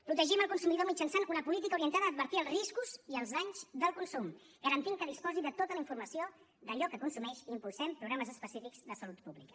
protegim el consumidor mitjançant una política orientada a advertir els riscos i els danys del consum garantint que disposi de tota la informació d’allò que consumeix i impulsem programes específics de salut pública